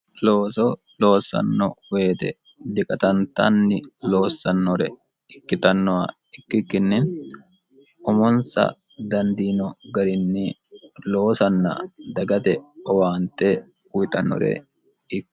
looso loossanno woyite diqatantanni loossannore ikkitannoha ikkikkinni umonsa dandiino garinni loosanna dagate owaante uyitannore ikka noonsa.